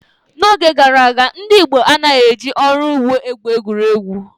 N’oge gara aga, ndị Igbo anaghị eji ọrụ ugbo egwuri egwu.